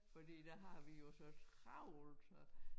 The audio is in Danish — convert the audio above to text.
Fordi der har vi jo så travlt så